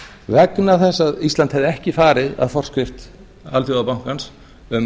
vegna þess að ísland hefði ekki farið að forskrift alþjóðabankans um